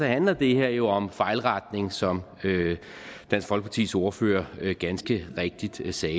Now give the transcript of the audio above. handler det her jo om fejlretning som dansk folkepartis ordfører ganske rigtigt sagde